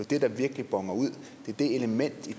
det der virkelig boner ud det er det element i